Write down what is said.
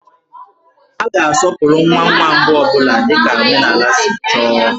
A ga-asọpụrụ nwa nwa mbụ ọ bụla dika omenaala si chọọ